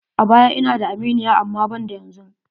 A baya ina da aminiya amma banda yanzu.